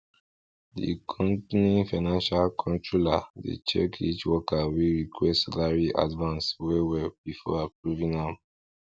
the company financial controller dey check each worker wey request salary advance well well before approving am